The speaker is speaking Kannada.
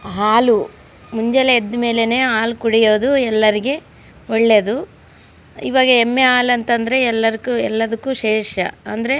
ಹಾಲು ಮುಂಜಾನೆ ಎದ್ದ್ ಮೇಲೇನೆ ಹಾಲು ಕುಡಿಯೋದು ಎಲ್ಲರಿಗೆ ಒಳ್ಳೆಯದು ಈಗ ಎಮ್ಮೆ ಹಾಲು ಅಂದರೆ ಎಲ್ಲದಕ್ಕೂ ಶ್ರೇಷ್ಠ ಅಂದ್ರೆ--